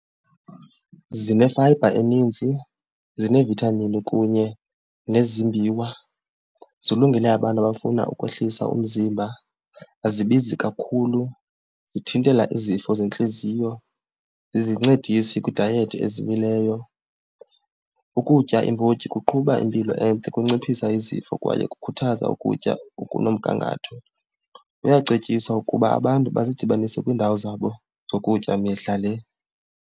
Zinefayibha eninzi, zinee-vitamins kunye nezimbiwa, zilungile abantu abafuna ukwehlisa umzimba. Azibizi kakhulu, zithintela izifo zentliziyo, zizincedisi kwiidayethi ezimileyo. Ukutya iimbotyi kuqhuba impilo entle ukunciphisa izifo kwaye kukhuthaza ukutya okunomgangatho. Kuyacetyiswa ukuba abantu bazidibanise kwiindawo zabo zokutya mihla le.